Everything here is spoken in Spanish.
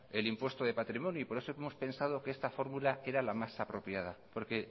el impuesto de patrimonio y por eso hemos pensado que esta fórmula era la más apropiada porque